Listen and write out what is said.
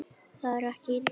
Það var ekki illa meint.